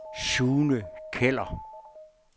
Sune Keller